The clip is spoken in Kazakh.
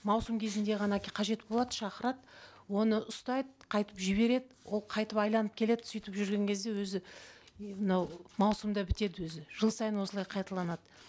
маусым кезінде ғана қажет болады шақырады оны ұстайды қайтып жібереді ол қайтып айналып келеді сөйтіп жүрген кезде өзі мынау маусым да бітеді өзі жыл сайын осылай қайталанады